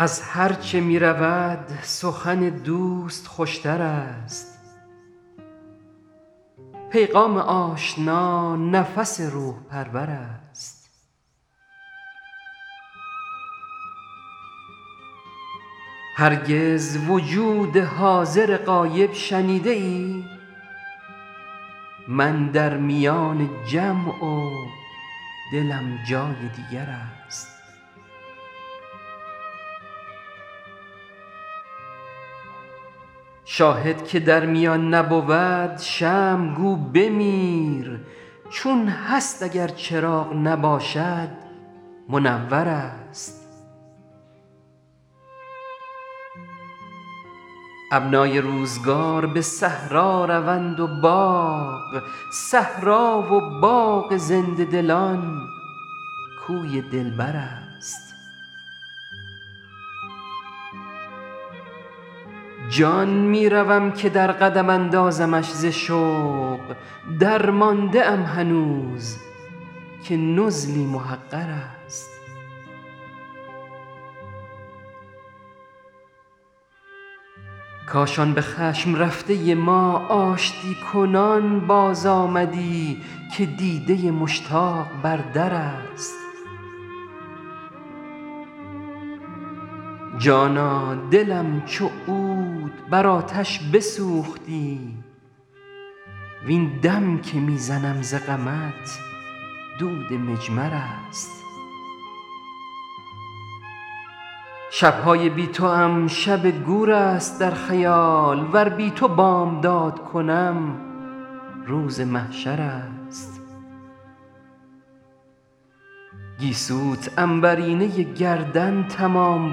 از هرچه می رود سخن دوست خوش تر است پیغام آشنا نفس روح پرور است هرگز وجود حاضر غایب شنیده ای من در میان جمع و دلم جای دیگر است شاهد که در میان نبود شمع گو بمیر چون هست اگر چراغ نباشد منور است ابنای روزگار به صحرا روند و باغ صحرا و باغ زنده دلان کوی دلبر است جان می روم که در قدم اندازمش ز شوق درمانده ام هنوز که نزلی محقر است کاش آن به خشم رفته ما آشتی کنان بازآمدی که دیده مشتاق بر در است جانا دلم چو عود بر آتش بسوختی وین دم که می زنم ز غمت دود مجمر است شب های بی توام شب گور است در خیال ور بی تو بامداد کنم روز محشر است گیسوت عنبرینه گردن تمام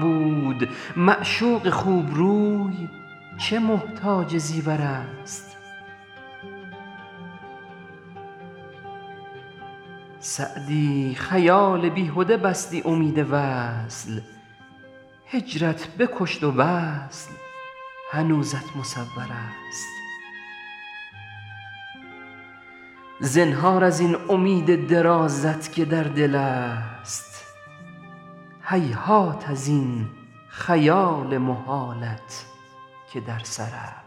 بود معشوق خوب روی چه محتاج زیور است سعدی خیال بیهده بستی امید وصل هجرت بکشت و وصل هنوزت مصور است زنهار از این امید درازت که در دل است هیهات از این خیال محالت که در سر است